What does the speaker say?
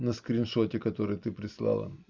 на скриншоте которое ты прислала